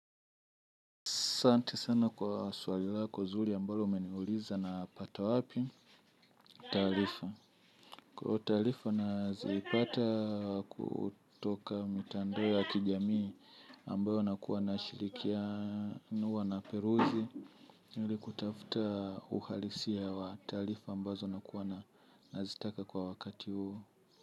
Asante sana kwa swali lako zuri ambalo umeniuliza na pata wapi, taarifa. Kwa taarifa nazipata kutoka mitandao ya kijamii ambayo nakuwa na shirikia huwa na peruzi, ili kutafuta uhalisia wa taarifa ambazo nakuwa na nazitaka kwa wakati huo.